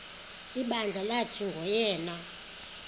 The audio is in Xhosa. ibandla lathi nguyena